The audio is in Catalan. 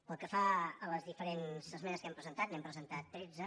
pel que fa a les diferents esmenes que hem presentat n’hem presentat tretze